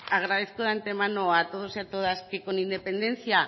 agradezco de antemano a todos y a todas que con independencia